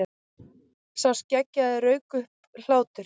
Sá skeggjaði rak upp hlátur.